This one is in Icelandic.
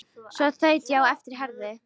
Svo þaut ég á eftir Herði.